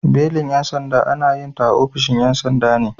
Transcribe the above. Belin 'yan sanda ana yinta a ofishin 'yan sanda ne.